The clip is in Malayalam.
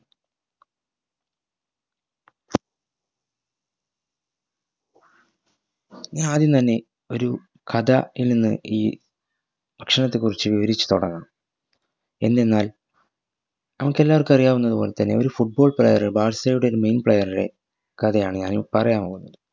ഞാൻ ആദ്യം തന്നെ ഒരു കഥ ഈൽനിന്ന് ഈ ഭക്ഷണത്തെ കുറിച്ച് വിവരിച് തൊടങ്ങാം എന്തെന്നാൽ നമുക് എല്ലാവർക്കും അറിയാവുന്നത് പൊൽത്തന്നെ ഒരു foot ball player ബാഴ്‌സയുടെ ഒരു main player റെ കഥയാണ് ഞാനിപ്പോ പറയാൻ പോവുന്നത്